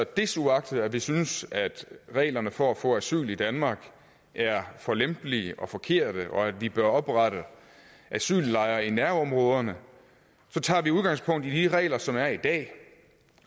desuagtet at vi synes at reglerne for at få asyl i danmark er for lempelige og forkerte og at vi bør oprette asyllejre i nærområderne tager vi udgangspunkt i de regler som er i dag